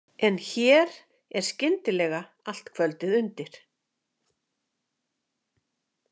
En hér er skyndilega allt kvöldið undir.